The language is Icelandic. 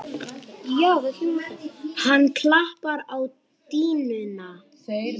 Hann klappar á dýnuna.